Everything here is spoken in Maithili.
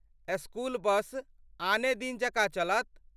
स्कूल बस आने दिन जकाँ चलत।